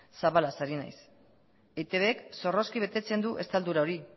zabalaz ari naiz eitbk zorrozki betetzen du estaldura hori